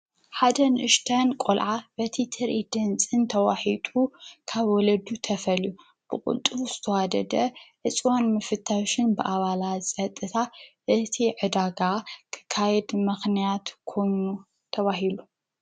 ሓደ ንእሽተይ ቆልዓ በቲ ትሪኢት ድምፅን ተዋሒጡ ካብ ወለዱ ተፈልዩ ብቁልጡፍ ዝተዋደደ ዕፅዋን ምፍታሽን ብኣባላት ፀጥታ እቲ ዕዳጋ ክካየድ ምክንያት ኮይኑ ተባሂሉ።